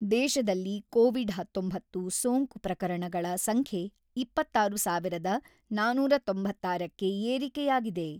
ದೇಶದಲ್ಲಿ ಕೋವಿಡ್-ಹತೊಂಬತ್ತು ಸೋಂಕು ಪ್ರಕರಣಗಳ ಸಂಖ್ಯೆ ಇಪ್ಪತ್ತಾರು ಸಾವಿರದ ನಾನೂರ ತೊಂಬತ್ತಾರಕ್ಕೆ ಏರಿಕೆಯಾಗಿದೆ.